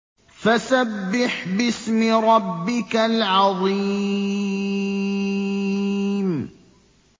فَسَبِّحْ بِاسْمِ رَبِّكَ الْعَظِيمِ